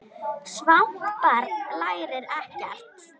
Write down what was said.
Svangt barn lærir ekkert.